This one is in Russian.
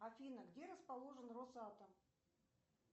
афина где расположен росатом